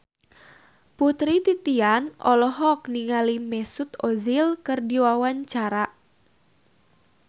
Putri Titian olohok ningali Mesut Ozil keur diwawancara